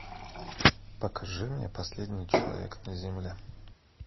покажи мне последний человек на земле